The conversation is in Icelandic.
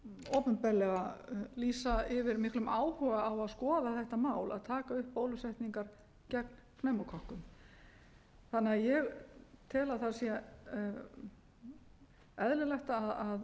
opinberlega lýsa yfir miklum áhuga á að skoða þetta mál að taka upp bólusetningar gegn pneumókokkum ég tel því að það sé eðlilegt að